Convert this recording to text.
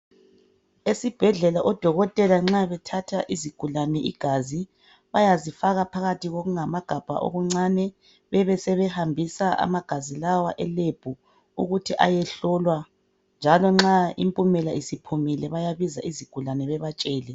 Odokotela esibhedlela nxa bethatha isigulane igazi bayazifaka phakathi kwamagabha amancane bebesebehambisa amagabha lawa e lebhu ukuthi aye hlolwa njalo nxa impumelo isiphumile bayabiza izigulane bebatshele.